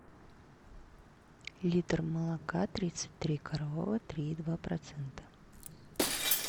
литр молока тридцать три коровы три и два процента